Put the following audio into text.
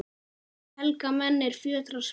Helga menn, er fjötrar spenna